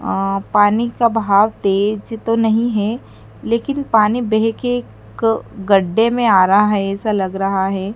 अ पानी का बहाव तेज तो नहीं है लेकिन पानी बह के क गड्ढे में आ रहा है ऐसा लग रहा है।